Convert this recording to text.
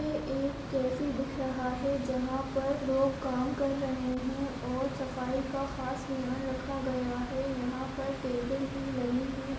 यह एक कैफै दिख रहा है जहां पर लोग काम कर रहें हैं और सफाई का खास ध्यान रखा गया है यहाँ पर टेबल भी लगी हैं।